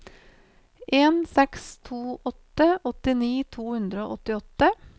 en seks to åtte åttini to hundre og åttiåtte